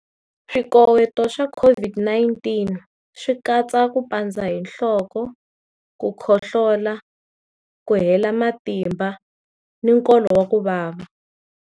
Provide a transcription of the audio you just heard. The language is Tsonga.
Swikoweto swa COVID-19 swi katsa ku pandza hi nhloko, ku khohlola, ku hela matimba na nkolo wa ku vava.